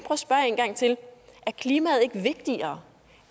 til er klimaet ikke vigtigere